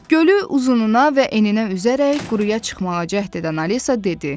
Gölü uzununa və eninə üzərək quruya çıxmağa cəhd edən Alisa dedi: